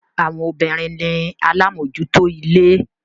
Àwọn obìnrin ni alámòjúútó ilé.